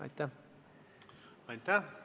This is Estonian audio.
Aitäh!